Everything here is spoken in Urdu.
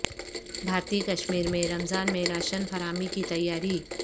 بھارتی کشمیر میں رمضان میں راشن فراہمی کی تیاری